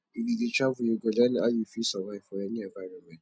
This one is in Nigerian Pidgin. if you dey travel you go learn how you fit survive for any environment